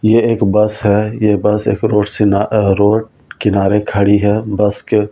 ये एक बस है ये बस एक रोड से रोड किनारे खड़ी है बस के --